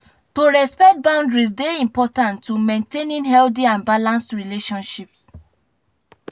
to respect boundary dey important for maintaining healthy and balanced relationships.